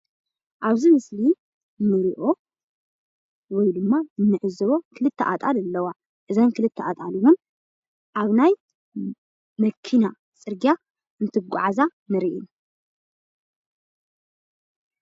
ኣብዚ ምስሊ እንሪኦ ወይድማ እንዕዘቦ ክልተ ኣጣል ኣለዋ፡፡ እዘን ክልተ ኣጣል ኣብ ናይ መኪና ፅርግያ እንትጓዓዛ ንሪኢ፡፡